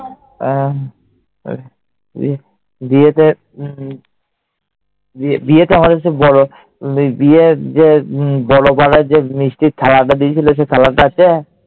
আহ উহ বিয়েতে, বিয়েতে আমাদের যে বড় যে মিষ্টির থালাটা দিয়েছিল, সেটা আছে?